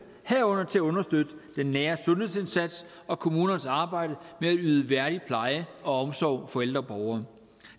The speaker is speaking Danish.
herunder til at understøtte den nære sundhedsindsats og kommunernes arbejde med at yde en værdig pleje og omsorg for ældre borgere